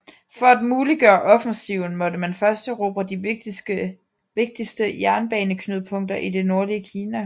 For at muliggøre offensiven måtte man først erobre de vigtigste jernbaneknudepunkter i det nordlige Kina